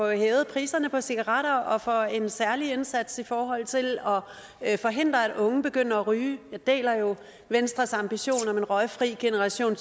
hævet priserne på cigaretter og for en særlig indsats i forhold til at forhindre at unge begynder at ryge jeg deler venstres ambition om en røgfri generation